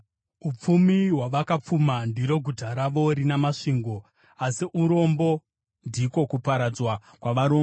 Upfumi hwavakapfuma ndiro guta ravo rina masvingo, asi urombo ndiko kuparadzwa kwavarombo.